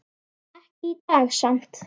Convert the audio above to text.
Ekki í dag samt.